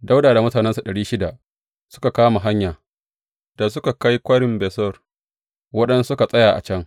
Dawuda da mutanensa ɗari shida suka kama hanya, da suka kai Kwarin Besor, waɗansunsu suka tsaya a can.